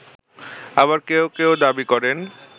আবার কেউ কেউ দাবি করেন